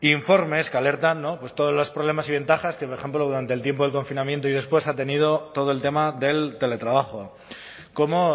informes que alertan todos los problemas y ventajas que por ejemplo durante el tiempo del confinamiento y después ha tenido todo el tema del teletrabajo cómo